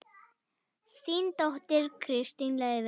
Þín dóttir, Kristín Laufey.